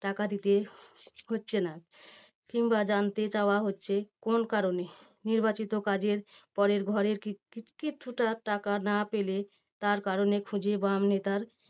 টাকা দিতে হচ্ছে না কিংবা জানতে চাওয়া হচ্ছে, কোন কারণে? নির্বাচিত কাজের পরের ঘরের কি~ কি~ কিছুটা টাকা না পেলে তার কারণে খুঁজে বাম নেতার